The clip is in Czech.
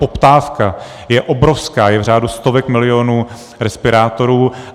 Poptávka je obrovská, je v řádu stovek milionů respirátorů.